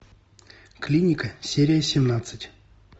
клиника серия семнадцать